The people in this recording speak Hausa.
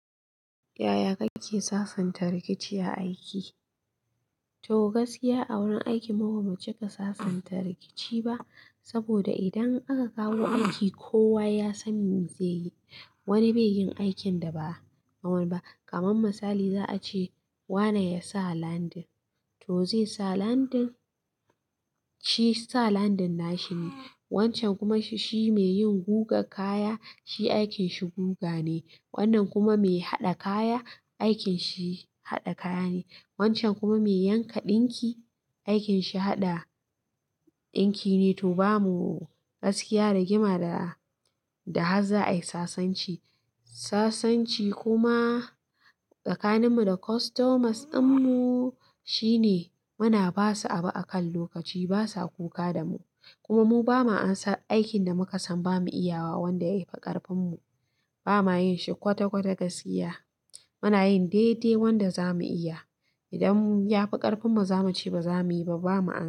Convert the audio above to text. Yaya kake sasanta rikici a aiki? To gaskiya a wurin aiki mu bamu cika sasanta rikici ba. Saboda idan aka kawo aiki kowa yasan me zeyi? Wani bai yi aikin da ba a man ba. Kaman misali za a ce wane ya sa landin, to zai sa landin. Shi sa landin na shi ne. Wancan kuma shi mai yin guga kaya, shi aikin shi guga ne. Wannan kuma mai haɗa kaya, aikin shi haɗa kaya ne. Wancan kuma mai yanka ɗinki, aikin shi haɗa ɗinki ne. To bamu gaskiya rigima da, da haza ai sasanci. Sasanci kuma tsakanin mu da kostomas din mu shine muna basu abu akan lokaci basa kuka da mu? Kuma mu bamu amsa aikin da muka san bamu iyawa wanda yafi ƙarfin mu. Bamu yin shi kwata-kwata gaskiya. Muna yin dai-dai wanda za mu iya. Idan ya fi ƙarfin mu za mu ce ba za mu yi ba, ba mu amsa.